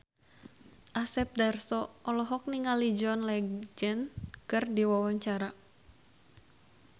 Asep Darso olohok ningali John Legend keur diwawancara